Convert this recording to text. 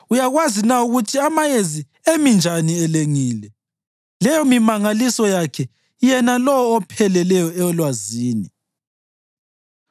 Uyakwazi na ukuthi amayezi emi njani elengile, leyomimangaliso yakhe yena lowo opheleleyo elwazini?